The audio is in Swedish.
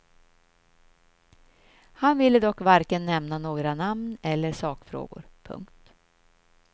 Han ville dock varken nämna några namn eller sakfrågor. punkt